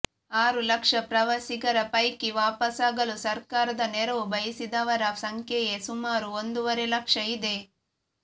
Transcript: ಆರು ಲಕ್ಷ ಪ್ರವಾಸಿಗರ ಪೈಕಿ ವಾಪಸಾಗಲು ಸರ್ಕಾರದ ನೆರವು ಬಯಸಿದವರ ಸಂಖ್ಯೆಯೇ ಸುಮಾರು ಒಂದೂವರೆ ಲಕ್ಷ ಇದೆ